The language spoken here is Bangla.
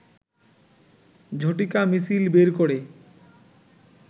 ঝটিকা মিছিল বের করে